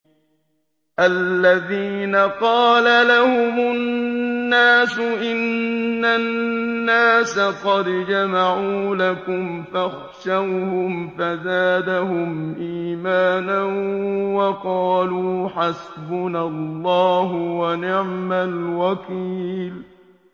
الَّذِينَ قَالَ لَهُمُ النَّاسُ إِنَّ النَّاسَ قَدْ جَمَعُوا لَكُمْ فَاخْشَوْهُمْ فَزَادَهُمْ إِيمَانًا وَقَالُوا حَسْبُنَا اللَّهُ وَنِعْمَ الْوَكِيلُ